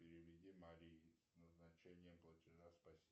переведи марие с назначением платежа спасибо